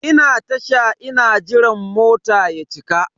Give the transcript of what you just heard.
Ina Tasha ina jiran mota ya cika.